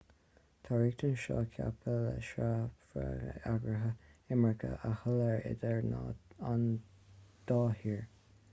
tá na riachtanais seo ceaptha le sreabhadh eagraithe imirce a sholáthar idir an dá thír